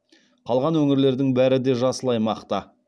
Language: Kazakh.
қалған өңірлердің бәрі де жасыл аймақта